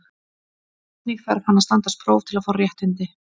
Einnig þarf hann að standast próf til að fá réttindin.